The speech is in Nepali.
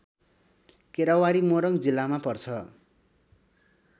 केरावारी मोरङ जिल्लामा पर्छ